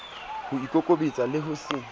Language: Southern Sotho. ho ikokobetsa le ho se